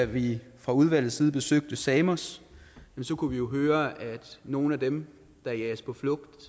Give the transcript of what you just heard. vi fra udvalgets side besøgte samos kunne vi jo høre at nogle af dem der jages på flugt